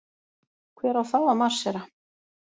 Hver á þá að marsera?